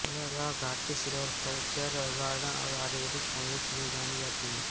यह घाटी silviculture garden और आयुर्वेदिक पौधों के लिए जानी जाती है